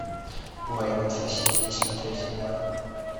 война соседей смотреть онлайн